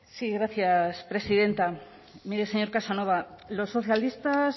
sí gracias presidenta mire señor casanova los socialistas